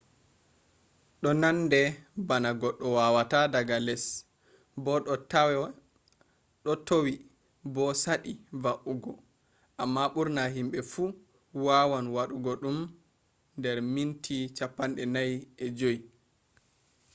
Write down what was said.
do nande bana goddo wawata daga les bo do towi bo sadi va’ugo amma burna himbe fu wawan wadugo dum der minti 45